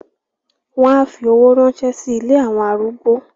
wọn á fi owó ránṣẹ́ sí “ ilé àwọn arúgbó ”.